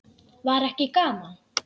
Var ekki gaman?